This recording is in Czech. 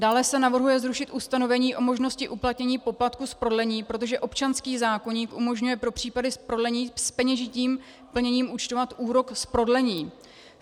Dále se navrhuje zrušit ustanovení o možnosti uplatnění poplatku z prodlení, protože občanský zákoník umožňuje pro případy z prodlení s peněžitým plněním účtovat úrok z prodlení.